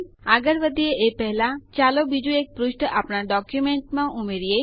આગળ વધીએ એ પહેલા ચાલો બીજું એક પુષ્ઠ આપણા ડોક્યુંમેન્ટમાં ઉમેરીએ